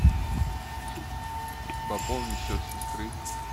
пополни счет сестры